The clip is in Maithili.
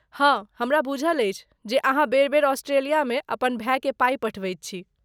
हाँ, हमरा बूझल अछि जे अहाँ बेर बेर ऑस्ट्रेलियामे अपन भायकेँ पाइ पठबैत छी।